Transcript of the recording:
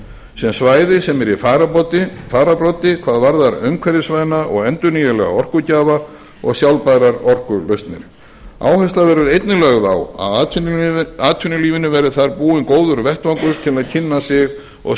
sem svæði sem er í fararbroddi hvað varðar umhverfisvæna og endurnýjanlega orkugjafa og sjálfbærar orkulausnir áhersla verður einnig lögð á að atvinnulífinu verði þar búinn góður vettvangur til að kynna sig og